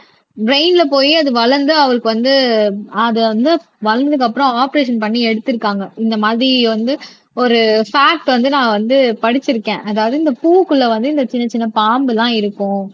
ப்ரைன்ல போய் அது வளர்ந்து அவருக்கு வந்து அது வந்து வளர்ந்ததுக்கு அப்புறம் ஆபரேஷன் பண்ணி எடுத்திருக்காங்க இந்த மாதிரி வந்து ஒரு பாக்ட் வந்து நான் வந்து படிச்சிருக்கேன் அதாவது இந்த பூவுக்குள்ள வந்து இந்த சின்ன சின்ன பாம்பு எல்லாம் இருக்கும்